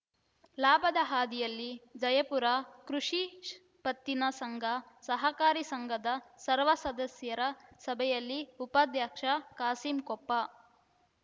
ಲಾಭದ ಹಾದಿಯಲ್ಲಿ ಜಯಪುರ ಕೃಷಿ ಪತ್ತಿನ ಸಂಘ ಸಹಕಾರಿ ಸಂಘದ ಸರ್ವ ಸದಸ್ಯರ ಸಭೆಯಲ್ಲಿ ಉಪಾಧ್ಯಕ್ಷ ಕಾಸಿಂ ಕೊಪ್ಪ